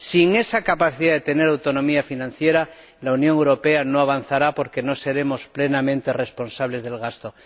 Sin esa capacidad de tener autonomía financiera, la Unión Europea no avanzará porque no seremos plenamente responsables del gasto.